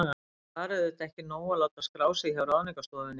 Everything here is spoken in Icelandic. En það var auðvitað ekki nóg að láta skrá sig hjá Ráðningarstofunni.